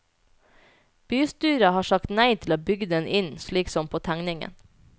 Bystyret har sagt nei til å bygge den inn, slik som på tegningen.